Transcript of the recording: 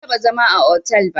Ban taɓa zama a hotel ba